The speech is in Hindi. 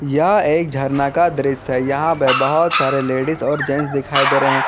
यह एक झरना का दृश्य है यहां पे बहोत सारे लेडिस और जेंट्स दिखाई दे रहे--